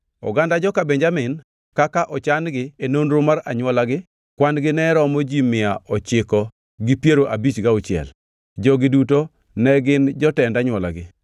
Oganda joka Benjamin kaka ochan-gi e nonro mar anywolagi kwan-gi ne romo ji mia ochiko gi piero abich gauchiel (956). Jogi duto ne gin jotend anywolagi.